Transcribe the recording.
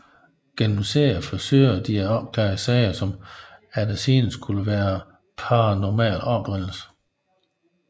Gennem serien forsøger de at opklare sager som efter sigende skulle være af paranormal oprindelse